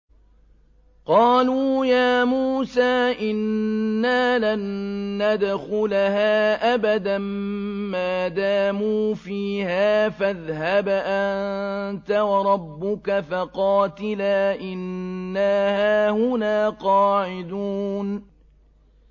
قَالُوا يَا مُوسَىٰ إِنَّا لَن نَّدْخُلَهَا أَبَدًا مَّا دَامُوا فِيهَا ۖ فَاذْهَبْ أَنتَ وَرَبُّكَ فَقَاتِلَا إِنَّا هَاهُنَا قَاعِدُونَ